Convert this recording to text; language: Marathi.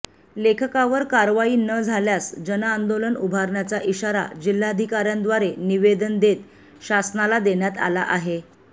लेखकावर कारवाई न झाल्यास जनांदोलन उभारण्याचा इशारा जिल्हाधिकार्यांद्वारे निवेदन देत शासनाला देण्यात आला आहे